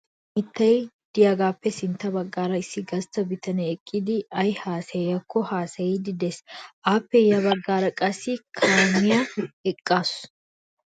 Daro mittay de'iyagaappe sintta baggaara issi gastta bitanee eqqidi ay haasayiyakko haasayiiddi de'ees. Appe ya baggaara qassi A kaamiyakka eqqaasu.